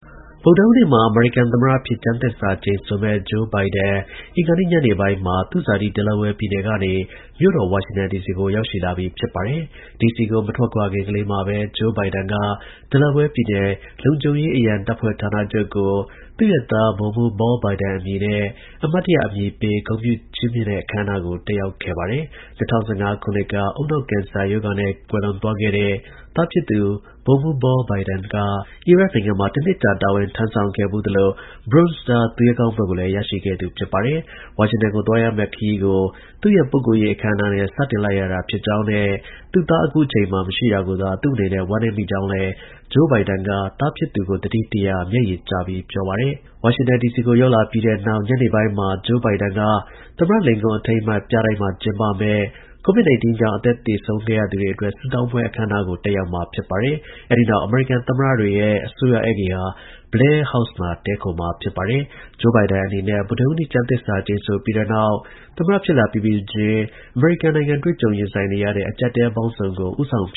ဗုဒ္ဓဟူးနေ့မှာ အမေရိကန် သမ္မတအဖြစ် ကျမ်းသစ္စာ ကျိန်ဆိုမယ့် Joe Biden အင်္ဂါနေ့ ညနေပိုင်းမှာ သူ့ ဇာတိ Delaware ပြည်နယ် ကနေ မြို့တော် ဝါရှင်တန်ဒီစီကို ရောက်ရှိလာပြီ ဖြစ်ပါတယ်။ ဒီစီကို မထွက်ခွာခင်ကလေးမှာပဲ Joe Biden က Delaware ပြည်နယ် လုံခြုံရေး အရံတပ်ဖွဲ့ဌာနချုပ်ကို သူ့ရဲ့ သား ဗိုလ်မှူး Beau" Biden အမည်နဲ့ အမှတ်တရ အမည်ပေး ဂုဏ်ပြုချီးမြှင့်တဲ့ အခမ်းအနားကို တက်ရောက်ခဲ့ပါတယ်။ ၂၀၁၅ ခုနှစ်က ကင်ဆာရောဂါနဲ့ကွယ်လွန်သွားခဲ့တဲ့ သားဖြစ် ဗိုလ်မှူး Beau" Biden က အီရတ်နိုင်ငံမှာတစ်နှစ် ကြာ တာဝန်ထမ်းဆောင်ခဲ့ဖူးသလို Bronze Star သူရဲကောင်းဘွဲ့ကို လည်း ရရှိခဲ့သူ ဖြစ်ပါတယ်။ ဝါရှင်တန်ကို သွားရမယ့် ခရီးကို သူ့ရဲ့ ပုဂ္ဂိုလ်ရေး အခမ်းအနားနဲ့ စတင်လိုက်ရတာ ဖြစ်ကြောင်းနဲ့ သူ့သား အခုအချိန်မှာ မရှိတာ ကိုသာ သူ့ အနေနဲ့ ဝမ်းနည်းမိကြောင်းလည်း Joe Biden က သားဖြစ်သူကို သတိတရ မျက်ရည်ကျပြီး ပြောပါတယ်။ ဝါရှင်တန် ဒီစီကို ရောက်လာပြီးတဲ့နောက် ညနေပိုင်းမှာ Joe Biden က သမ္မတ လင်ကွန်း အထိမ်းအမှတ် ပြတိုက်မှာ ကျင်းပတဲ့ COVID 19 ကြောင့် အသက်သေဆုံးခဲ့ရသူတွေအတွက် ဆုတောင်းပွဲ အခမ်းအနားကို တက်ရောက်ခဲ့ပါတယ်။ အဲဒီနောက် အမေရိကန် သမ္မတတွေရဲ့ အစိုးရ ဧည့်ဂေဟာ Blair House မှာ တစ်ညတာ တည်းခိုမှာ ဖြစ်ပါတယ်။ Joe Biden အနေနဲ့ ဗုဒ္ဓဟူးနေ့ ကျမ်းသစ္စာကျိန်ဆိုပြီးတဲ့နောက် သမ္မတ ဖြစ်လာပြီးပြီးချင်း အမေရိကန် နိုင်ငံတွေ့ကြုံ ရင်ဆိုင်နေရတဲ့ အကျပ်အတည်းပေါင်းစုံကို ဦးဆောင် ဖ